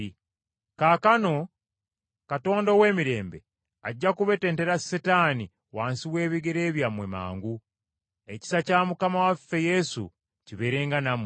Kaakano Katonda ow’emirembe ajja kubetentera Setaani wansi w’ebigere byammwe, mangu. Ekisa kya Mukama waffe Yesu kibeerenga nammwe.